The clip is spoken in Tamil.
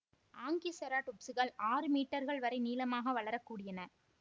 ஆங்கிசெராடொப்சுகள் ஆறு மீட்டர்கள் வரை நீளமாக வளரக்கூடியன